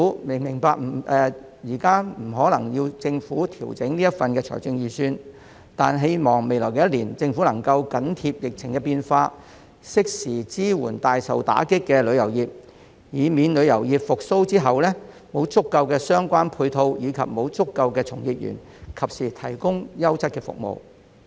我明白現時不可能要求政府調整預算案，但希望未來一年政府能夠緊貼疫情變化，適時支援大受打擊的旅遊業，以免在旅遊業復蘇後，沒有足夠的配套和從業員及時提供優質服務。